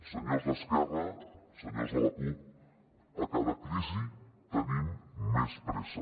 senyors d’esquerra senyors de la cup a cada crisi tenim més pressa